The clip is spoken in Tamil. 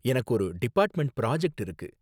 எனக்கு ஒரு டிபார்ட்மென்ட் பிராஜெக்ட் இருக்கு.